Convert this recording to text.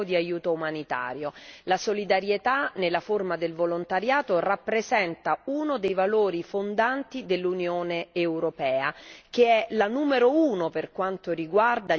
La solidarietà nella forma del volontariato rappresenta uno dei valori fondanti dell'Unione europea, che è la numero uno per quanto riguarda gli aiuti umanitari.